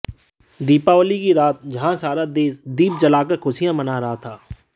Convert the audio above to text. दीपावली की रात जहां सारा देश दीप जलाकर खुशियां मना रहा था